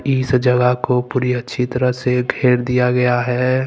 इस जगह को पूरी अच्छी तरह से घेर दिया गया है।